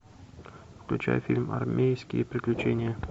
включай фильм армейские приключения